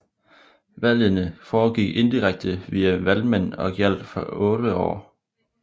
Valgene foregik indirekte via valgmænd og gjaldt for 8 år